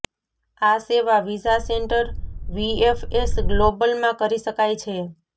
આ સેવા visa centre VFS global માં કરી શકાય છે